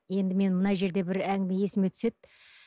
енді мен мына жерде бір әңгіме есіме түседі